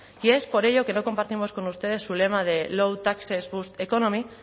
y es por ello que no compartimos con ustedes su lema de low taxes economy